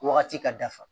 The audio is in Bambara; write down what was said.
Wagati ka dafa